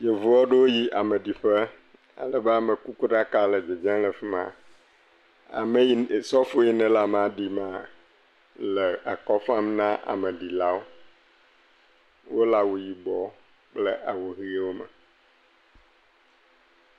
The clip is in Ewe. Yevu aɖewo yi ameɖiƒe, alebe amekuku ɖaka le dzedze le afi ma, ame yi ne, sɔfo yi nele amea ɖi mea, ele akɔ fam na ameɖilawo. Wole awu yibe kple awu ʋewo me.